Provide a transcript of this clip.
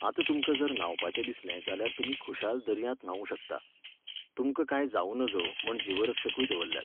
आतां तुमकां जर न्हावपाचें दिसलें जाल्यार तुमी खुशाल दर्यांत न्हावूं शकता, तुमकां कांय जावूं नजो म्हण जीवरक्षकूय दवरल्यात.